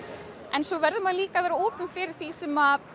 en svo verður maður líka að vera opinn fyrir því sem